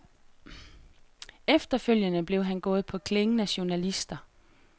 Efterfølgende blev han gået på klingen af journalister.